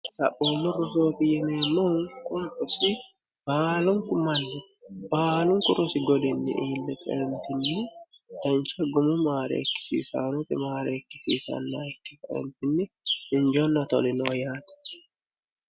taphoollo rosooti yimeemnohu quisi baalunku mannu baalunku rosi godinni iille qeemtinni dancha gumu maareekkisisaanote maareekkisiisanna ikke aemtinni hinjeonna toli no yaate